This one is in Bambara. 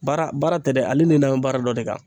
Baara baara tɛ dɛ ale ni danbɛ baara dɔ de kan.